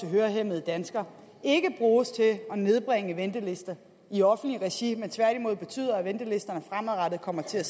hørehæmmede danskere ikke bruges til at nedbringe ventelisterne i offentligt regi men tværtimod betyder at ventelisterne fremadrettet kommer til at